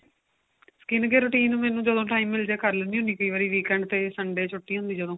skin care routine ਮੈਨੂੰ ਜਦੋਂ time ਮਿਲ ਜੇ ਕਰ ਲੈਨੀ ਹੁਨੀ ਆ ਕਈ ਵਾਰੀ weekend ਤੇ Sunday ਛੁੱਟੀ ਹੁੰਦੀ ਜਦੋਂ